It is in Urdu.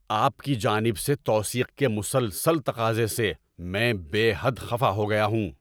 آپ کی جانب سے توثیق کے مسلسل تقاضے سے میں بے حد خفا ہو گیا ہوں۔